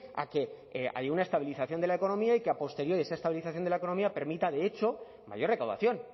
a que haya una estabilización de la economía y que a posteriori esa estabilización de la economía permita de hecho mayor recaudación